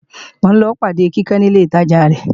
mò ń lọ pàde Kíkẹ́ ní ilé ìtajà rẹ